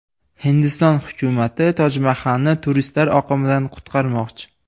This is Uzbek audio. Hindiston hukumati Tojmahalni turistlar oqimidan qutqarmoqchi.